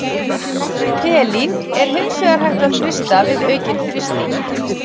Helín er hins vegar hægt að frysta við aukinn þrýsting.